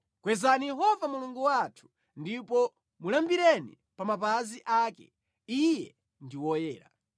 Kwezani Yehova Mulungu wathu ndipo mulambireni pa mapazi ake; Iye ndi woyera.